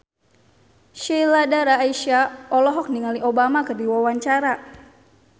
Sheila Dara Aisha olohok ningali Obama keur diwawancara